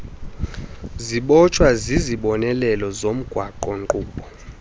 zibotshwa zizibonelelo zomgaqonkqubo